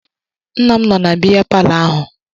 Nna m nọ na biya palọ ahụ